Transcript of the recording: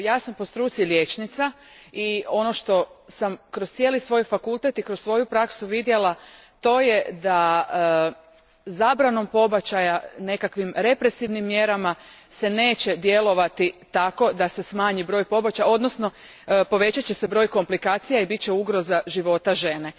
Ja sam po struci liječnica i ono što sam kroz cijeli svoj fakultet i kroz svoju praksu vidjela to je da zabranom pobačaja, nekakvim represivnim mjerama se neće djelovati tako da se smanji broj pobačaja odnosno povećat će se broj komplikacija i bit će ugroza života žene.